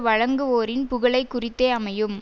வழங்குவோரின் புகழை குறித்தே அமையும்